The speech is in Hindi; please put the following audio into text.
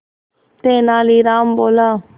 तेनालीराम बोला